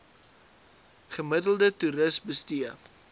gemiddelde toeris bestee